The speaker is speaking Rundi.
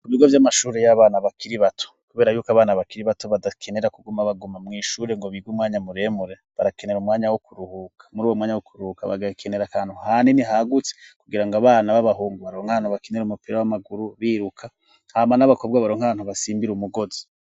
Ibigo vy'amashuri y'abana bakiri bato kubera yuko abana bakiri bato badakenera kuguma baguma mw'ishure ngo bige umwanya muremure barakenera muri uwo mwanya wo kuruhuka bagakenera kantu hanini hagutse kugira ngo abana b'abahungu baronke ahantu bakenira umupira w'amaguru biruka haman'abakobwa baronkano basimbire umugozi.